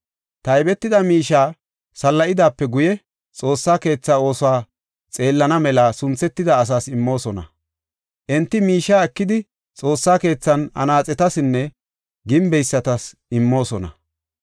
Taybetida miishiya salla7idaape guye, Xoossa keetha oosuwa xeellana mela sunthetida asaas immoosona. Enti miishiya ekidi, Xoossa keethan anaaxetasinne gimbeysati immoosona.